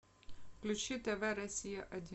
включи тв россия один